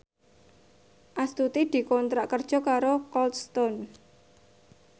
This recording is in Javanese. Astuti dikontrak kerja karo Cold Stone